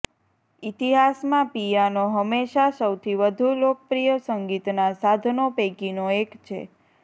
ઇતિહાસમાં પિયાનો હંમેશા સૌથી વધુ લોકપ્રિય સંગીતનાં સાધનો પૈકીનો એક છે